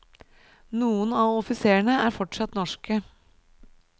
Noen av offiserene er fortsatt norske.